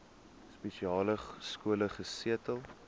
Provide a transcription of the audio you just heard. spesiale skole gesetel